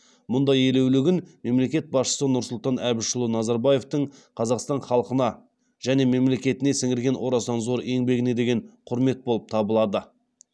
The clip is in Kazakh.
мұндай елеулі күн мемлекет басшысы нұрсұлтан әбішұлы назарбаевтың қазақстан халқына және мемлекетіне сіңірген орасан зор еңбегіне деген құрмет болып табылады